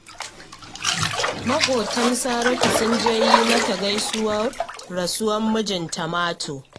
Maƙwabtan Saratu sun je yi mata gaisuwar rasuwar mijinta Mato